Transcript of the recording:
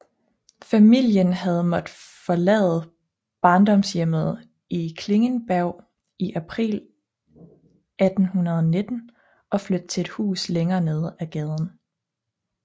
Familien havde måttet forlade barndomshjemmet i Klingenberg i april 1819 og flytte til et hus længere nede ad gaden